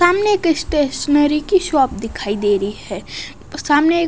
सामने स्टेशनरी की शॉप दिखाई दे रही है सामने एक--